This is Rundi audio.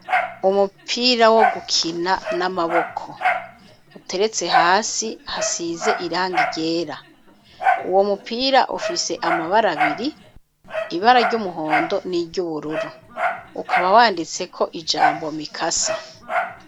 Umupira wo gukina n'amaboko, uteretse hasi, hasize irangi ryera; uwo mupira ufise amabara abiri, ibara ry'umuhondo n'iry'ubururu; ukaba wanditseko ijambo "Mikasa".